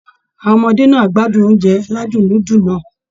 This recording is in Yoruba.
Àwọn ọmọdé náà á gbádùn oúnjẹ aládùn núdù náà